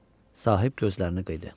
Sahib gözlərini qıydı.